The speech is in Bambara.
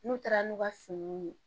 N'u taara n'u ka finiw ye